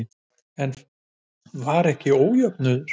En var ekki ójöfnuður?